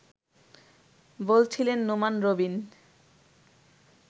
বলছিলেন নোমান রবিন